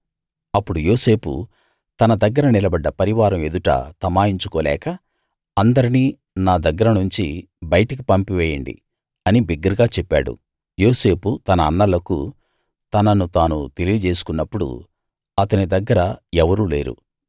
అప్పుడు యోసేపు తన దగ్గర నిలబడ్డ పరివారం ఎదుట తమాయించుకోలేక అందరినీ నా దగ్గరనుంచి బయటికి పంపేయండి అని బిగ్గరగా చెప్పాడు యోసేపు తన అన్నలకు తనను తాను తెలియజేసుకున్నప్పుడు అతని దగ్గర ఎవరూ లేరు